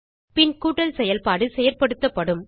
பின் கூட்டல் செயல்பாடு செயல்படுத்தப்படும்